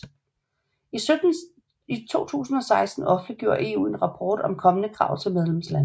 I 2016 offentliggjorde EU en rapport om kommende krav til medlemslandene